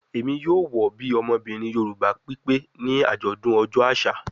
Emi yoo wọ bi ọmọbirin Yoruba pipe ni ajọdun ọjọ aṣa